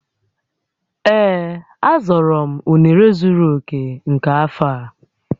Ee, a zọrọ m unere zuru oke nke afọ a